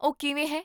ਉਹ ਕਿਵੇਂ ਹੈ?